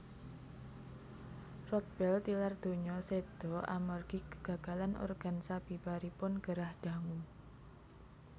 Rodbell tilar donya séda amargi kegagalan organ sabibaripun gerah dangu